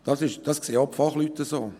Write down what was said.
Das sehen auch die Fachleute so.